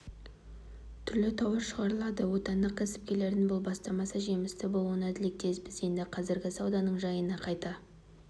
түрлі тауар шығарылады отандық кәсіпкерлердің бұл бастамасы жемісті болуына тілектеспіз енді қазіргі сауданың жайына қайта